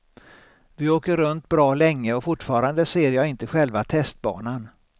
Vi åker runt bra länge och fortfarande ser jag inte själva testbanan.